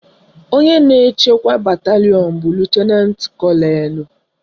Onye na-achịkwa batalịọn bụ Lutenantị Kọnelụ